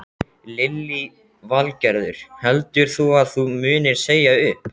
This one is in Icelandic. Lillý Valgerður: Heldur þú að þú munir segja upp?